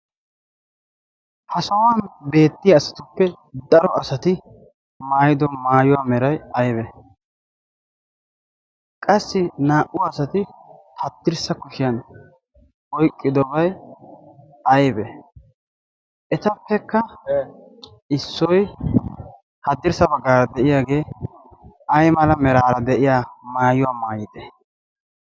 ha sohuwan beettiya asatuppe daro asati maayido maayuwaa meray aybe? qassi naa'u asati tattirssa kushiyan oyqqidobyi aibe etappekka issoi haddirssa baggaara de'iyaagee ay mala meraara de'iya maayuwaa maayide?